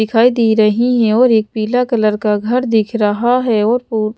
दिखाई दे रही है और एक पीला कलर का घर दिख रहा है और फु--